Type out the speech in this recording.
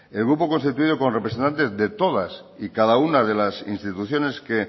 el grupo constituido con representantes de todas y cada una de las instituciones que